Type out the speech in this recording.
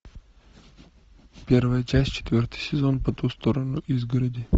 первая часть четвертый сезон по ту сторону изгороди